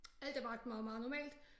Alt er faktisk bare meget normalt